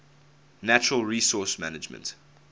natural resource management